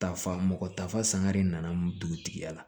Tafa mɔgɔ tafa sanga de nana dugutigi ya la